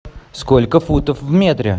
сколько футов в метре